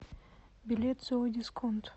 билет зоодисконт